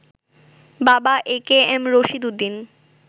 বাবা একেএম রশিদ উদ্দিন